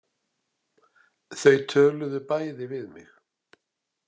Þau töluðu bæði við mig.